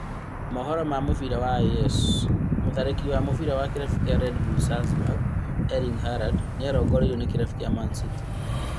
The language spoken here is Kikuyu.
Mohoro ma mũbira wa AS, mũtharĩkĩri wa mũbĩra wa kĩrabu kĩa Red Bull Salzburg Erling Halaad nĩarongoreirio ni kĩrabu kĩa Manchester City